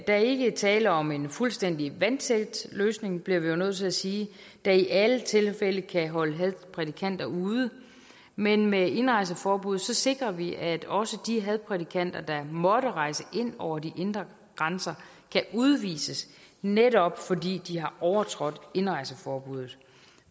er ikke tale om en fuldstændig vandtæt løsning det bliver vi jo nødt til at sige der i alle tilfælde kan holde hadprædikanter ude men med indrejseforbuddet sikrer vi at også de hadprædikanter der måtte rejse ind over de indre grænser kan udvises netop fordi de har overtrådt indrejseforbuddet